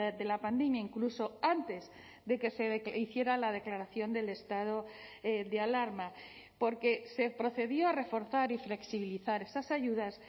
de la pandemia incluso antes de que se hiciera la declaración del estado de alarma porque se procedió a reforzar y flexibilizar esas ayudas